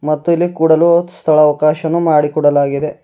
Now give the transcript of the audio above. ಮತ್ತು ಇಲ್ಲಿ ಕೂಡಲು ಸ್ಥಳ ಅವಕಾಶನ್ ಮಾಡಿಕೊಡಲಾಗಿದೆ.